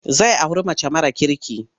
Zai auri mace mara kirki.